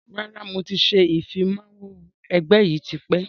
Rárá, mo ti ṣe ìfimawo ẹgbẹ́ yìí tipẹ́